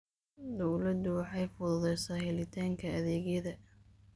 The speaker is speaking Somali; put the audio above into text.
Dawladdu waxay fududaysaa helitaanka adeegyada.